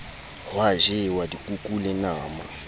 hwa jewa dikuku le nama